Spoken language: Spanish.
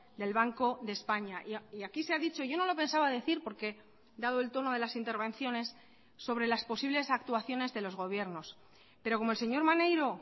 del banco de españa y aquí se ha dicho yo no lo pensaba decir porque dado el tono de las intervenciones sobre las posibles actuaciones de los gobiernos pero como el señor maneiro